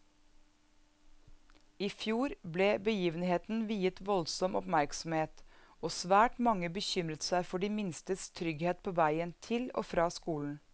I fjor ble begivenheten viet voldsom oppmerksomhet, og svært mange bekymret seg for de minstes trygghet på veien til og fra skolen.